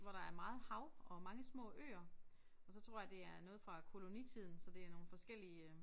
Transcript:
Hvor der er meget hav og mange små øer og så tror jeg det er noget fra kolonitiden så det er nogle forskellige øh